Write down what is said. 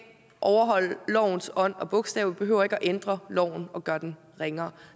overholde lovens ånd og bogstav behøver ikke at ændre loven og gøre den ringere